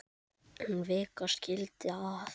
En vika skildi að.